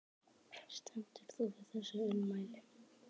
Stendur þú við þessi ummæli?